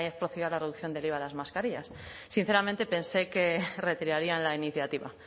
procedido a la reducción del iva de las mascarillas sinceramente pensé que retirarían la iniciativa